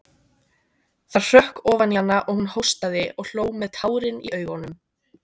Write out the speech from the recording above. Það hrökk ofan í hana og hún hóstaði og hló með tárin í augunum.